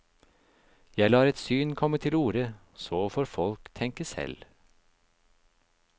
Jeg lar et syn komme til orde, så får folk tenke selv.